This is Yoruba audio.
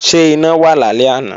Ṣé iná wà lálẹ́ àná?